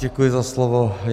Děkuji za slovo.